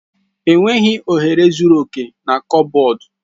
Enweghị ohere zuru oke na kọbọd.